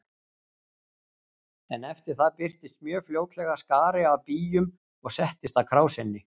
En eftir það birtist mjög fljótlega skari af býjum og settist að krásinni.